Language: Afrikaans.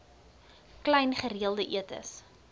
klein gereelde etes